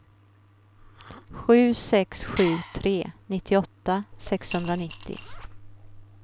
sju sex sju tre nittioåtta sexhundranittio